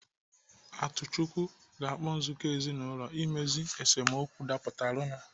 Atuchukwu ga-akpọ nzukọ ezinaụlọ imezu esemokwu dapụtara nu